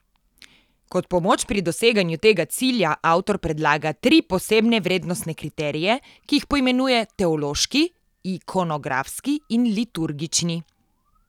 Kot pomoč pri doseganju tega cilja avtor predlaga tri posebne vrednostne kriterije, ki jih poimenuje teološki, ikonografski in liturgični.